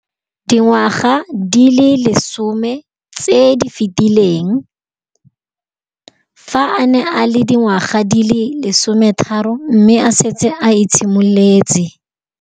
Dingwaga di le 10 tse di fetileng, fa a ne a le dingwaga di le 23 mme a setse a itshimoletse